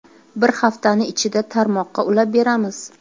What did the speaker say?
Bir haftani ichida tarmoqqa ulab beramiz.